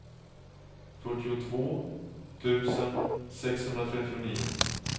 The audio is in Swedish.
fyrtiotvå tusen sexhundratrettionio